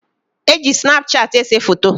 E ji Snapchat ese foto.